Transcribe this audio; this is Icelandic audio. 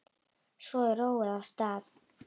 Svo er róið af stað.